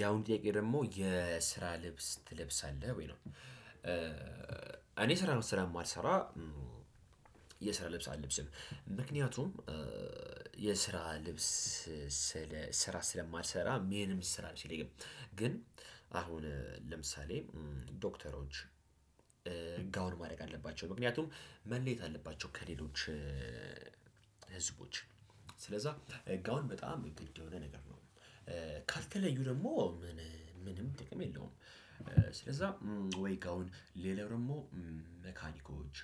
ያሁኑ ጥያቄ ደግሞ የስራ ልብስ ትለብሳለህ ወይ? ነው እኔ ስራ ስለማልሰራ የስራ ልብስ አለብስም። ምክንያቱም የስራ ልብስ ስራ ስለማልሰራ ምንም የስራ ልብስ የለኝም። ግን አሁን ለምሳሌ ዶክተሮች ጋውን ማድረግ አለባቸው ምክንያቱም መለየት አለባቸው ከሌሎች ስለዛ ጋውን በጣም ግድ የሆነ ነገር ነው። ካልተለዩ ደግሞ ምንም ጥቅም የለውም። ስለዛ ወይ ጋውን ሌላ ደግሞ መካኒኮች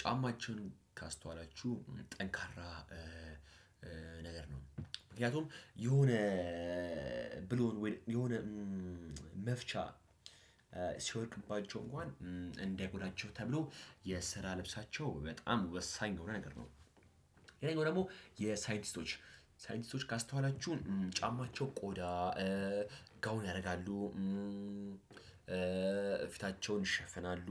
ጫማቸውን ካስተዋላችሁ ጠንካራ ነገር ነው። ምክንያቱም የሆነ ብሎን ወይ ደሞየሆነ መፍቻ ሲወድቅባቸው እንኳን እንዳይጎዳቸው ተብሎ የስራ ልብሳቸው በጣም ወሳኝ የሆነ ነገር ነው። ሌላኛው ደግሞ የሳይንቲስቶች ሳይንቲስቶች ካስተዋላችሁ ጫማቸው ቆዳ ጋውን ያደርጋሉ ፊታቸውን ይሸፈናሉ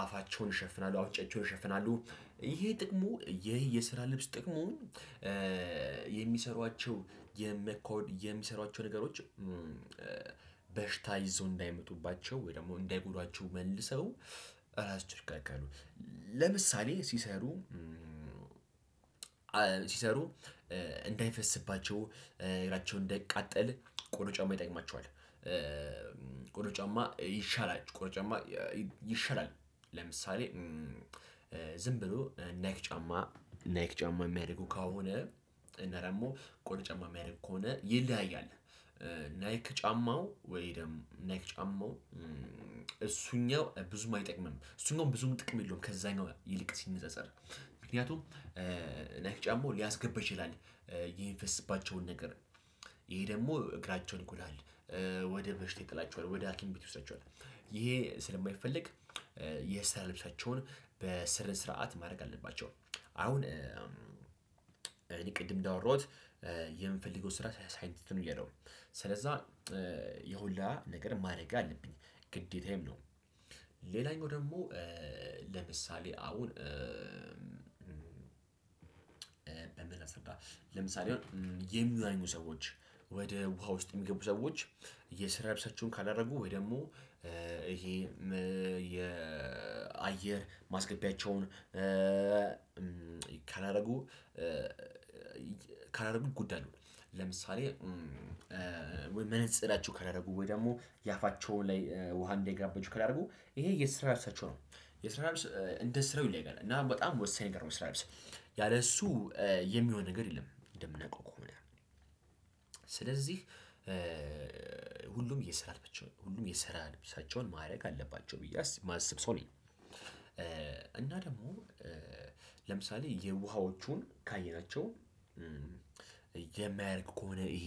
አፋቸውን ይሸፍናሉ አፍንጫቸውን ይሸፍናሉ። ይሄ ጥቅሙ የስራ ልብስ ጥቅሙ የሚሰሩዋቸው የሚሰሩዋቸው ነገሮች በሽታ ይዘው እንዳይመጡባቸው ወይ ደግሞ እንዳይጎዷቸው መልሰው ራሳቸውን ይከላከላሉ። ለምሳሌ ሲሰሩ እንዳይፈስባቸው እግራቸው እንዳይቃጠል ቆዳ ጫማው ይጠቅማቸዋል። ቆዳ ጫማ ይሻላል ቆዳ ጫማ ይሻላል። ለምሳሌ ዝም ብሎ ናይክ ጫማ ናይክ ጫማ የሚያደርጉ ከሆነ እና ደግሞ ቆዳ ጫማ የሚያደርጉ ከሆነ ይለያያል። ናይክ ጫማው ወይ ደግሞ ናይክ ጫማው እሱኛው ብዙም አይጠቅምም እሱኛው ብዙም ጥቅም የለውም ከዛኛው ይልቅ ሲነጻጸር። ምክንያቱም ናይክ ጫማው ሊያስገባ ይችላል የሚፈስባቸውን ነገር ይሄ ደግሞ እግራቸውን ይጎዳል። ወደ በሽታ ይጥላቸዋል ወደ ሀኪም ቤት ይወስዳቸዋል። ይሄ ስለማይፈለግ የስራ ልብሳቸውን በስነ ስርዓት ማድረግ አለባቸው። አሁን እኔ ቅድም እንዳወራሁት የምፈልገው ስራ ሳይንቲስት ነው ብያለው ስለዛ ይህን ሁላ ነገር ማድረግ አለብኝ። ነው ሌላኛው ደግሞ ለምሳሌ አሁን በምን ላስረዳህ? ለምሳሌ የሚዋኙ ሰዎች ወደ ውሃ ውስጥ የሚገቡ ሰዎች የስራ ልብሳቸውን ካላደረጉ ወይ ደግሞ ይሄ የአየር ማስገቢያቸውን ካላደረጉ ይጎዳሉ። ለምሳሌ ወይ መነጽራቸው ካላደረጉ ወይ ደግሞ የአፋቸው ላይ ውሃ እንዳይገባባቸው ካላረጉ ይሄ የስራ ልብሳቸው ነው። የስራ ልብስ እንደ ስራው ይለያያል እና በጣም ወሳኝ ነገር ነው የስራ ልብስ። እሱ የሚሆን ነገር የለም እንደምናቀው ከሆነ ስለዚህ ሁሉም የስራ ልብሳቸውን ማድረግ አለባቸው ብዬ የማስብ ሰው ነኝ። እና ደግሞ ለምሳሌ የውሃዎቹን ካየናቸው የማያርቅ ከሆነ ይሄ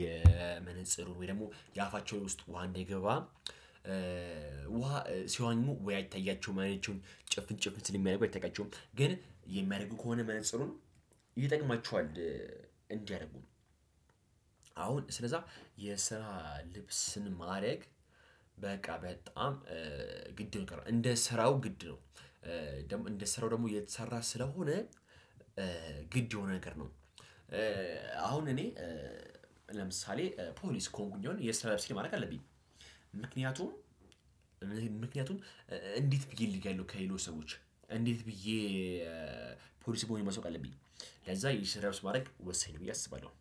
የመነጽሩ ወይ ደግሞ የአፋቸው ውስጥ ውሃ እንዳይገባ ውሃ ሲዋኙ ወይ አይታያቸውም አይናቸውን ጭፍን ጭፍን ስለሚያደርጉ አይታያቸውም ግን የሚያደርጉ ከሆነ መነፅሩን ይጠቅማቸዋል። እንዲያደርጉ አሁን ስለዛ የስራ ልብስን ማድረግ በቃ በጣም ግድ ነው በቃ እንደ ስራው ግድ ነው። እንደ ስራው ደግሞ እየተሰራ ስለሆነ ግድ የሆነ ነገር ነው። አሁን እኔ ለምሳሌ ፖሊስ ከሆንኩኝ አሁን የስራ ልብሴን ማድረግ አለብኝ። ምክንያቱም ምክንያቱም እንዴት ብዬ እለያለው ከሌሎች ሰዎች እንዴት ብዬ ፖሊስ መሆኔን ማሳወቅ አለብኝ። ለዛ የስራ ልብስ ማድረግ ወሳኝ ነው ብዬ አስባለሁ።